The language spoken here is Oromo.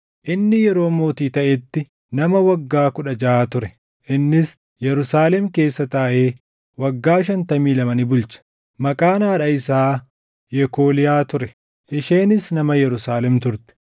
Inni yeroo mootii taʼetti nama waggaa kudha jaʼa ture; innis Yerusaalem keessa taaʼee waggaa shantamii lama ni bulche. Maqaan haadha isaa Yekooliyaa ture; isheenis nama Yerusaalem turte.